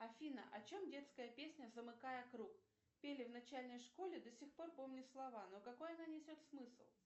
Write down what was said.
афина о чем детская песня замыкая круг пели в начальной школе до сих пор помню слова но какой она несет смысл